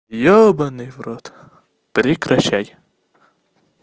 ёбанный в рот прекращай